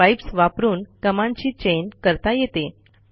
pipes वापरून कमांडची chain करता येते